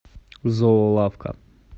зоолавка